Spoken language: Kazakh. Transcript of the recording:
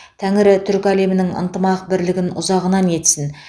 тәңірі түркі әлемінің ынтымақ бірлігін ұзағынан етсін